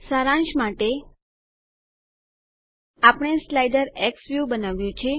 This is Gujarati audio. સારાંશ માટે આપણે સ્લાઇડર ઝવેલ્યુ બનાવ્યું છે